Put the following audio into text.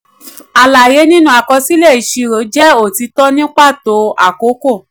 alaye nínú àkọsílẹ̀ ìṣirò jẹ otitọ ní pàtó àkókò.